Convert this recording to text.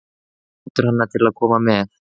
Hann hvetur hana til að koma með.